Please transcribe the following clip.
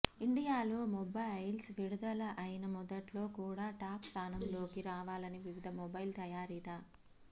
ఇండియాలో మొబైల్స్ విడుదల అయిన మొదట్లో కూడా టాప్ స్దానంలోకి రావాలని వివిధ మొబైల్ తయారీదా